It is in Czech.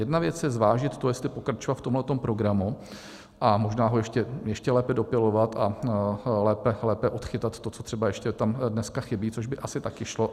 Jedna věc je zvážit to, jestli pokračovat v tomhle programu a možná ho ještě lépe dopilovat a lépe odchytat to, co třeba ještě tam dneska chybí, což by asi taky šlo.